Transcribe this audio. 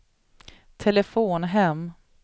telefon hem